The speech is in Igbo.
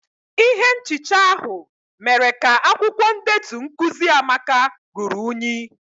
Ihe nchicha ahụ mere ka akwukwo ndetu nkuzi amaka ruru unyi.